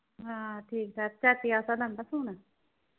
ਹਾਂ ਠੀਕ ਠਾਕ ਚਾਚੀ ਵਾਸਤਾ ਲਿਆਂਦਾ .